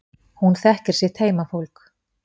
Hún þekkir sitt heimafólk.